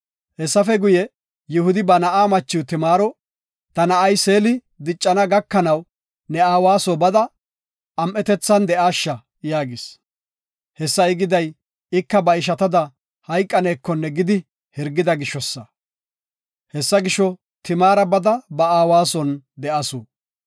Hessafe guye, Yihudi ba na7aa machiw Timaaro, “Ta na7ay Seeli diccana gakanaw ne aawa soo bada, am7etethan de7aasha” yaagis. Hessa I giday, ika ba ishatada hayqanekonne gidi hirgida gishosa. Hessa gisho, Timaara bada ba aawa son de7asu.